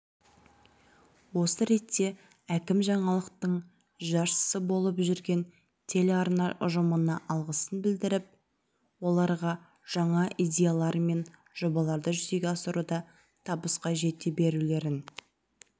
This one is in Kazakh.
осы ретте әкім жаңалықтың жаршысы болып жүрген телеарна ұжымына алғысын білдіріп оларға жаңа идеялар мен жобаларды жүзеге асыруда табысқа жете берулерін